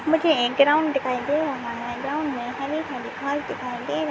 मुझे एक ग्राउंड दिखाई दे रहा है ग्राउंड में हरे-हरे घास दिखाई दे रहे--